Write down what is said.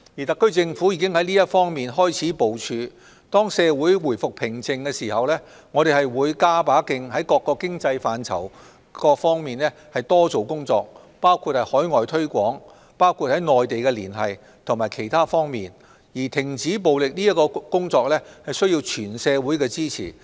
特區政府已開始在這方面進行部署，當社會回復平靜，我們便會加把勁在各個經濟範疇多做工作，包括海外推廣、內地連繫及其他方面，至於停止暴力的工作，則需要得到全社會支持。